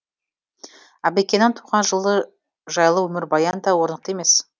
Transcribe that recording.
әбікеннің туған жылы жайлы өмірбаян да орнықты емес